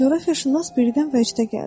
Coğrafiyaşünas birdən vəcdə gəldi.